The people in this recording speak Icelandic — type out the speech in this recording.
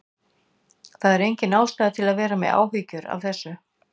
Það er engin ástæða til að vera með áhyggjur af þessu.